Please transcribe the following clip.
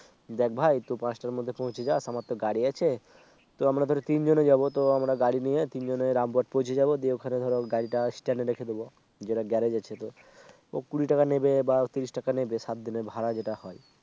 দেখ ভাই তুই পাঁচটার মধ্যে পৌঁছে যাস আমার তো গাড়ি আছে তো আমরা ধরো তিনজনে যাবো তো আমরা গাড়ি নিয়ে তিনজনে Rampurhat পৌঁছে যাব দিয়ে ওখানে ধরা গাড়িটা Stand এ রেখে দেবো যেটা গ্যারেজ আছে তো কুড়ি টাকা নেবে বা তিরিশ টাকা নেবে সাত দিনের ভাড়া যেটা হয়